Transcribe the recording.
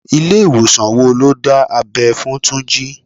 Ilé ìwòsàn wo lo ti dá abẹ́ fún Túnjí?